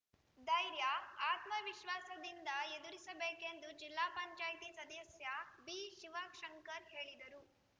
ಧೈರ್ಯಆತ್ಮವಿಶ್ವಾಸದಿಂದ ಎದುರಿಸಬೇಕೆಂದು ಜಿಲ್ಲಾ ಪಂಚಾಯತಿ ಸದಸ್ಯ ಬಿಶಿವಶಂಕರ್‌ ಹೇಳಿದರು